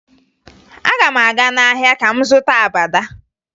Aga m aga n'ahịa ka m zụta abada